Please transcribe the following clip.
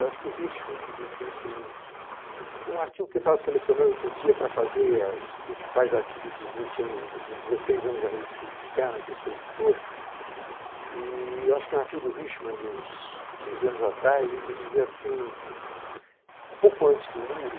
Eu acho que o Hirschman, que disse isso num artigo que eu estava selecionando outro dia para fazer os principais artigos dos vinte anos, dos dezesseis anos da Revista Política Externa, que eu sou editor, e eu acho que é um artigo do Hirschman, de uns quinze anos atrás, em que ele dizia assim, um pouco antes do muro,